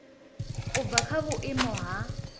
u bva kha vhuimo ha